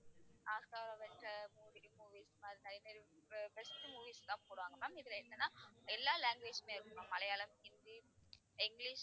Oscar Avengers mov~ movies மாதிரி நிறைய நிறைய அஹ் best movies எல்லாம் போடுவாங்க ma'am. இதுல என்னன்னா எல்லா language மே இருக்கும் ma'am. மலையாளம், ஹிந்தி, இங்கிலிஷ்